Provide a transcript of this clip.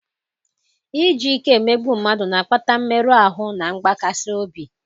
iji ike emegbu mmadụ na-akpata mmerụ ahụ na mgbakasị obi.